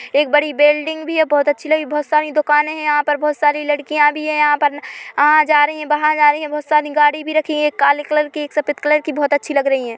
एक बड़ी बिल्डिंग भी है बहुत अच्छी लगी बहुत सारी दुकाने है यहाँ पर बहुत सारी लड़कियां भी है यहाँ पर आ जा रही है बाहर जा रही है बहुत सारी गाड़ी भी रखी है एक काले कलर की एक सफेद कलर की बहुत अच्छी लग रही है।